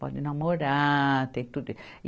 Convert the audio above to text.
Pode namorar, tem tudo.